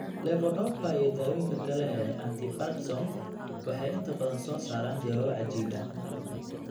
Levodopa iyo dawooyinka kale ee antiparkinson waxay inta badan soo saaraan jawaabo cajiib ah.